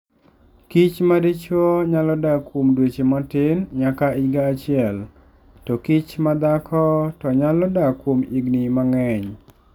Kich madijuo nyalo dak kuom dweche matin nyaka higa achiel, tokich ma dhako to nyalo dak kuom higini mang'eny.